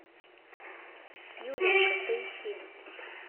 юленька поищи